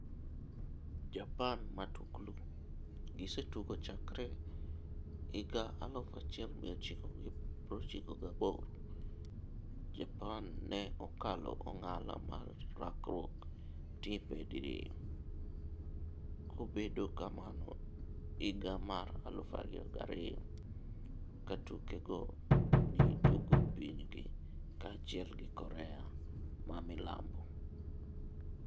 Japan Matuklu: Gisetugo chakre 1998, Japan ne okalo ong'ala mar rakruok timbe diriyo, kobedo kamano higa mar 2002 katuke go ni tugo pinygi kaachiel gi Korea ma milambo.